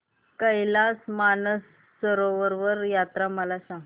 कैलास मानसरोवर यात्रा मला सांग